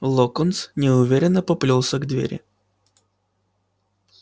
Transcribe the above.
локонс неуверенно поплёлся к двери